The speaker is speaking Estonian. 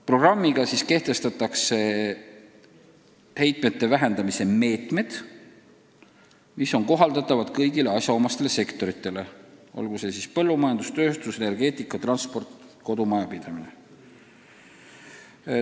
Programmis kajastatakse heitmete vähendamise meetmed, mis tuleb kasutusele võtta kõigis asjaomastes sektorites, olgu see siis põllumajandus, tööstus, energeetika, transport, kodumajapidamine.